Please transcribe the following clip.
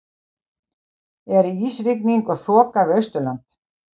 er ísrigning og þoka við austurland